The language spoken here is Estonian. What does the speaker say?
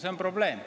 See on probleem.